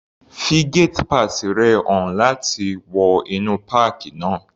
Fi gate pass rẹ̀ hàn láti wọ inú páàkì náà.